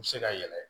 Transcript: U bɛ se ka yɛlɛ